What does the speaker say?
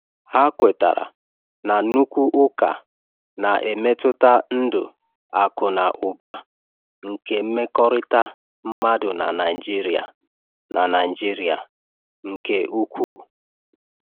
Ha kwetara na nnukwu ụka na-emetụta ndụ akụ na ụba na nke mmekọrịta mmadụ na Naịjiria na Naịjiria nke ukwuu.